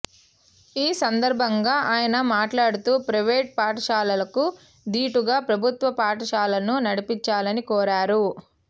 ఈ సందర్భంగా ఆయన మాట్లాడుతూ ప్రయివేటు పాఠశాలలకు దీటుగా ప్రభుత్వ పాఠశాలను నడిపించాలని కోరారు